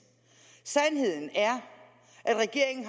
sandheden er at regeringen